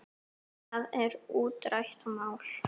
Það er útrætt mál.